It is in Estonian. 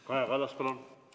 Kaja Kallas, palun!